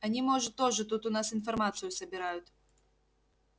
они может тоже тут у нас информацию собирают